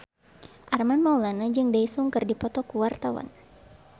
Armand Maulana jeung Daesung keur dipoto ku wartawan